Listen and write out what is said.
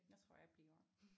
Jeg tror jeg bliver